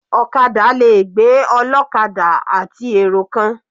Ọ̀kadà le gbé ọlọ́kadà àti èrò kan.